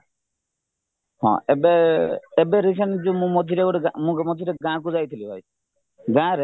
ହଁ ଏବେ ଏବେ recent ଯୋଉ ମୁଁ ମଝିରେ ଯୋଉ ଗାଁ ମୁଁ ମଝିରେ ଗାଁକୁ ଯାଇଥିଲିହେରି ଗାଁରେ